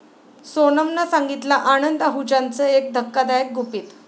सोनमनं सांगितलं आनंद आहुजाचं एक धक्कादायक गुपित!